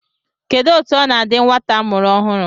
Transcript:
Kedụ etu ọ na-adị nwata a mụrụ ọhụụ?